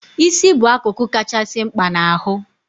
Isi bụ akụkụ kachasị mkpa n' ahụ